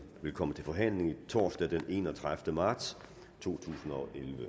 vil komme til forhandling torsdag den enogtredivete marts to tusind